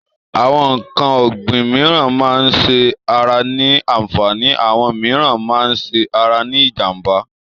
Àwọn n̄ǹkan ọ̀gbìn mííràn máa ń ṣe ara ní àǹfààní, àwọn mííràn máa ń ṣe ara ní ìjànbá.